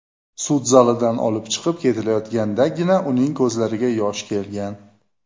Sud zalidan olib chiqib ketilayotgandagina, uning ko‘zlariga yosh kelgan.